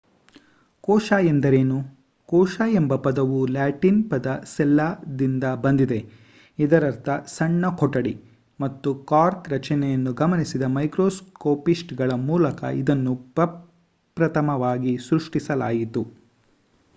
ಕೋಶ ಎಂದರೇನು? ಕೋಶ ಎಂಬ ಪದವು ಲ್ಯಾಟಿನ್ ಪದ ಸೆಲ್ಲಾ ದಿಂದ ಬಂದಿದೆ ಇದರರ್ಥ ಸಣ್ಣ ಕೊಠಡಿ ಮತ್ತು ಕಾರ್ಕ್ ರಚನೆಯನ್ನು ಗಮನಿಸಿದ ಮೈಕ್ರೋಸ್ಕೋಪಿಸ್ಟ್‌ಗಳ ಮೂಲಕ ಇದನ್ನು ಪ್ರಪ್ರಥಮವಾಗಿ ಸೃಷ್ಟಿಸಲಾಯಿತು